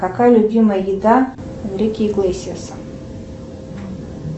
какая любимая еда энрике иглесиаса